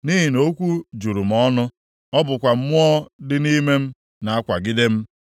nʼihi na okwu juru m ọnụ, ọ bụkwa mmụọ dị nʼime m na-akwagide m.